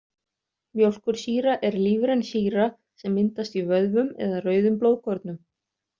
Mjólkursýra er lífræn sýra sem myndast í vöðvum eða rauðum blóðkornum.